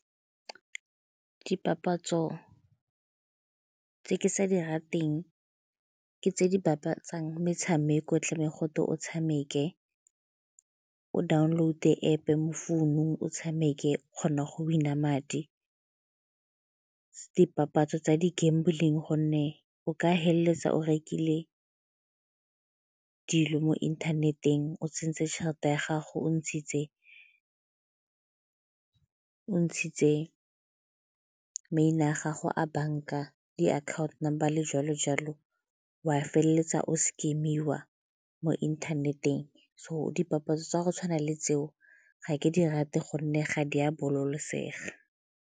Dipapatso tse ke sa di rateng ke tse di bapatsang metshameko e tlebeng gote o tshameke, o download-e App-e mo founung o tshameke kgona go bona madi. Dipapatso tsa di-gamble-ing gonne o ka feleletsa o rekile dilo mo inthaneteng o tsentse tšhelete ya gago, o ntshitse maina a gago a banka, diakhaonto, jalo jalo o a feleletsa o scam-iwa mo inthaneteng. So, dipapatso tsa go tshwana le tseo ga ke di rate gonne ga di a bolokosega.